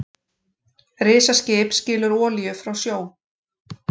Risaskip skilur olíu frá sjó